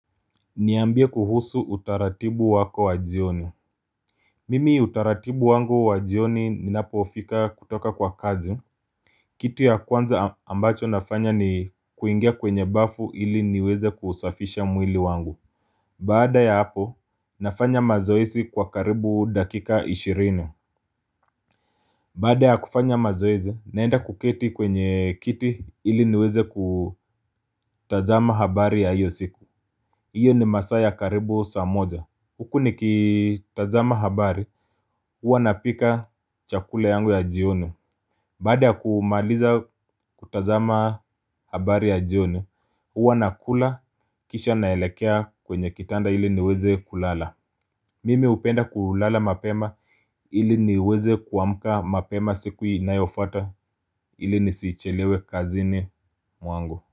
Niambia kuhusu utaratibu wako wa jioni Mimi utaratibu wangu wa jioni ninapofika kutoka kwa kazi kitu ya kwanza ambacho nafanya ni kuingia kwenye bafu ili niweze kuusafisha mwili wangu Baada ya hapo nafanya mazoezi kwa karibu dakika ishirini Baada ya kufanya mazoezi naenda kuketi kwenye kiti ili niweze kutazama habari ya hiyo siku Iyo ni masaa ya karibu saa moja Huku nikitazama habari huwa napika chakula yangu ya jioni Baada ya kumaliza kutazama habari ya jioni huwa nakula kisha naelekea kwenye kitanda ili niweze kulala Mimi hupenda kulala mapema ili niweze kuamka mapema siku inayofuata ili nisichelewe kazini mwangu.